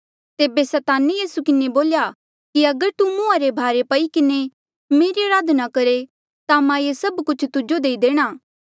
तेबे सैताने यीसू किन्हें बोल्या कि अगर तू मुंहा रे भारे पई किन्हें मेरी अराधना करहे ता मां ये सब कुछ तुजो देई देणा